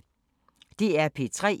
DR P3